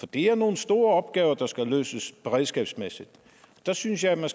det er nogle store opgaver der skal løses beredskabsmæssigt og der synes jeg man